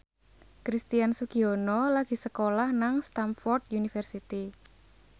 Christian Sugiono lagi sekolah nang Stamford University